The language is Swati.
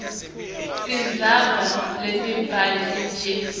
tindzaba letimbili nje